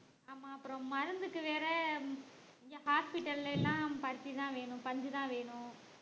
ஆமா அப்புறம் மருந்துக்கு வேற இங்க hospital ல எல்லாம் பருத்திதான் வேணும் பஞ்சு தான் வேணும்